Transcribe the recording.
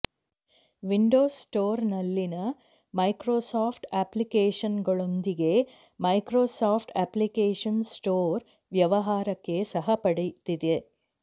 Windows ಸ್ಟೋರ್ನಲ್ಲಿನ Microsoft ಅಪ್ಲಿಕೇಶನ್ಗಳೊಂದಿಗೆ Microsoft application store ವ್ಯವಹಾರಕ್ಕೆ ಸಹ ಪಡೆದಿದೆ